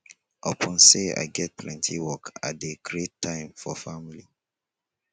upon sey i get plenty work i dey create time for family